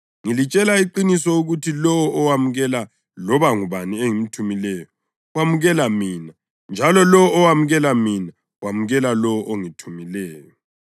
Ngilitshela iqiniso ukuthi lowo owamukela loba ngubani engimthumayo wamukela mina njalo lowo owamukela mina wamukela lowo ongithumileyo.”